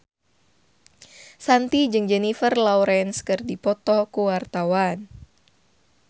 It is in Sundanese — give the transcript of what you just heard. Shanti jeung Jennifer Lawrence keur dipoto ku wartawan